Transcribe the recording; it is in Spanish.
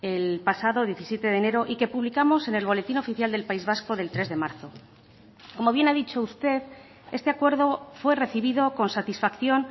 el pasado diecisiete de enero y que publicamos en el boletín oficial del país vasco del tres de marzo como bien ha dicho usted este acuerdo fue recibido con satisfacción